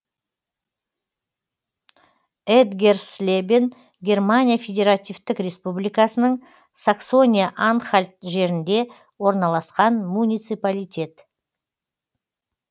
этгерслебен германия федеративтік республикасының саксония анхальт жерінде орналасқан муниципалитет